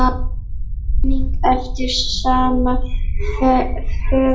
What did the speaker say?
einnig eftir sama höfund.